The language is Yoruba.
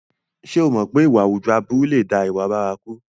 Ṣé o mọ̀ pé ìwà àwùjọ aburú lè dá ìwà bárakú?